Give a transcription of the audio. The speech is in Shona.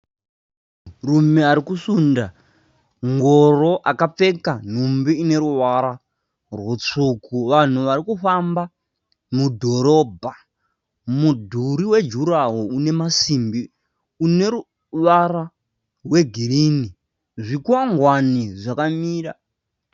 Munhu ari kusunda ngoro akapfeka nhumbi ine ruvara rwutsvuku. Vanhu vari kufamba mudhorobha. Mudhuri wejurahoro ine masimbi une ruvara rwegirinhi. Zvikwangwani zvakamira.